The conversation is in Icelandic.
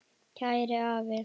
Kæri afi.